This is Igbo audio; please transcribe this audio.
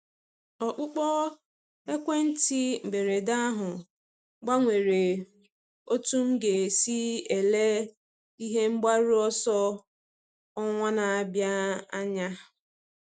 Ọkpụkpọ ekwentị mberede ahụ gbanwere otú m ga-esi ele ihe mgbaru ọsọ ọnwa na-abịa anya.